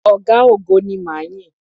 Ọ̀gá-ogo ni ma yìn.